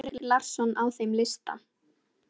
Er Henrik Larsson á þeim lista?